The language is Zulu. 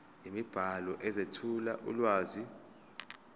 imibhalo ezethula ulwazi